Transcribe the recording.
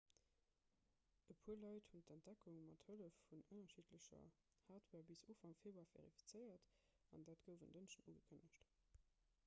e puer leit hunn d'entdeckung mat hëllef vun ënnerschiddlecher hardware bis ufank februar verifizéiert an dat gouf en dënschdeg ugekënnegt